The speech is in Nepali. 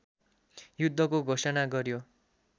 युद्धको घोषणा गर्‍यो